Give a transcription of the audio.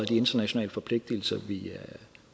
internationale forpligtigelser